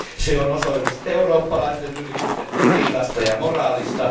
Se on osoitus eurooppalaisten yritysten etiikasta ja moraalista.